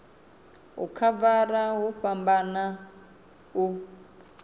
u khavara hu fhambana u